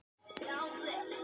Þú ert eitthvað svo daufur.